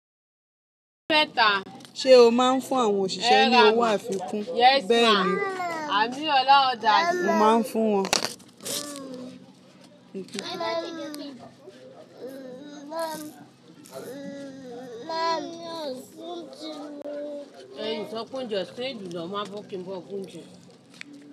Ṣé o máa ń fún àwọn òṣìṣẹ́ ní owó àfikún? Bẹ́ẹ̀ni, mo màá ń fún wọn. Hin so pe ounje osan e lu, lo mu abo ki n bo bu ounje.